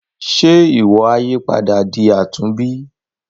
Ṣe iwọ a yípadà di àtúnbí.